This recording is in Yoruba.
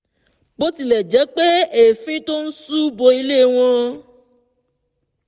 bí ó tilẹ̀ jẹ́ pé èéfín tó ń ṣú bo ilé wọn